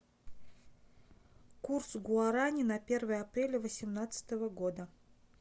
курс гуарани на первое апреля восемнадцатого года